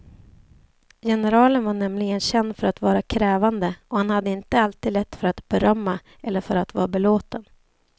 Generalen var nämligen känd för att vara krävande, och han hade inte alltid lätt för att berömma eller för att vara belåten.